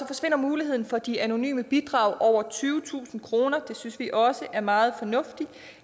forsvinder muligheden for de anonyme bidrag på over tyvetusind kroner det synes vi også er meget fornuftigt